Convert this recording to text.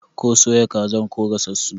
Ko soya kazar ko gasassu?